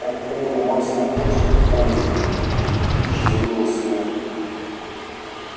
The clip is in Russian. он помнил мать смутно все таки помнил а кичи забыла сына